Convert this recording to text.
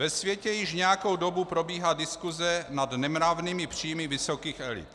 Ve světě již nějakou dobu probíhá diskuse nad nemravnými příjmy vysokých elit.